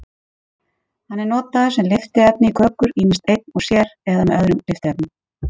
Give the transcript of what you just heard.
Hann er notaður sem lyftiefni í kökur, ýmist einn og sér eða með öðrum lyftiefnum.